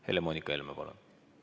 Helle-Moonika Helme, palun!